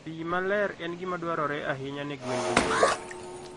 Pi maler en gima dwarore ahinya ne gwen duto.